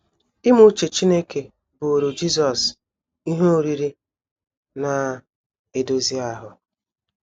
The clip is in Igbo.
Ime uche Chineke bụụrụ Jisọs “ ihe oriri ” na - edozi ahụ.